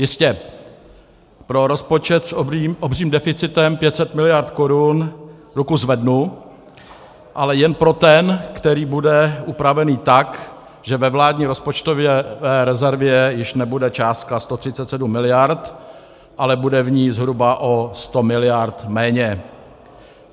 Jistě, pro rozpočet s obřím deficitem 500 miliard korun ruku zvednu, ale jen pro ten, který bude upraven tak, že ve vládní rozpočtové rezervě již nebude částka 137 miliard, ale bude v ní zhruba o 100 miliard méně.